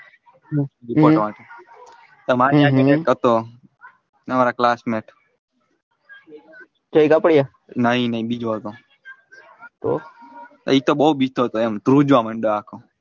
તમારી હાથી નો એક હતો તમારા classmate નઈ નઈ બીજો હતો એતો બઉ બીતો હતો ધ્રુજવા માંડે આખો.